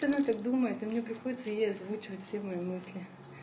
она так думает и мне приходится ей озвучивать все мои мысли